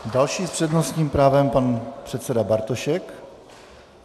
Další s přednostním právem pan předseda Bartošek.